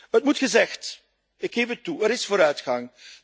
Het moet gezegd ik geef het toe er is vooruitgang.